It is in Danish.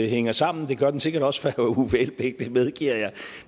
hænger sammen det gør den sikkert også for herre uffe elbæk det medgiver jeg